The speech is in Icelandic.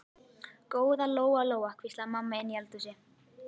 Góða Lóa Lóa, hvíslaði mamma inni í eldhúsi.